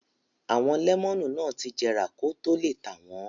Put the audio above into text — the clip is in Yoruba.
Àwọn lẹ́mọ́nù ti jẹrà kó tó le tà wọ́n.